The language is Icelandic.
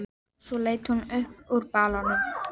Í lífi þínu sá ég spor mín út um allt.